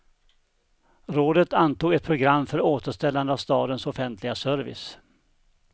Rådet antog ett program för återställande av stadens offentliga service.